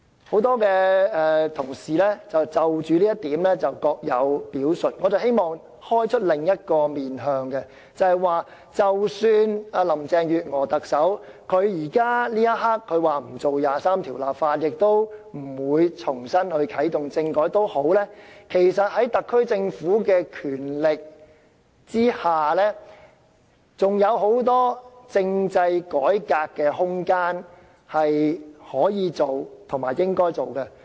很多同事就着這一點各有表述，我希望提出另一個面向，便是即使特首林鄭月娥這一刻說不會就第二十三條立法，也不會重新啟動政改，其實在特區政府的權力之下，還有很多政制改革的空間是可以做和應該做的。